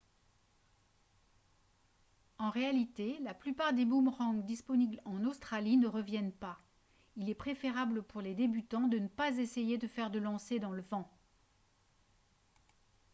en réalité la plupart des boomerangs disponibles en australie ne reviennent pas il est préférable pour les débutants de ne pas essayer de faire de lancers dans le vent